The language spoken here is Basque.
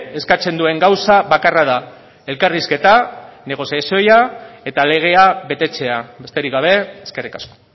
eskatzen duen gaza bakarra da elkarrizketa negoziazioa eta legea betetzea besterik gabe eskerrik asko